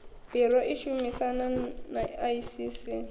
biro i shumisanaho na iss